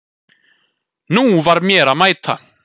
Nú var mér að mæta!